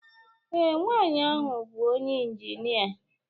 Ee, nwanyị ahụ bụ onye injinia